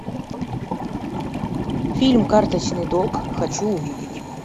фильм карточный долг хочу увидеть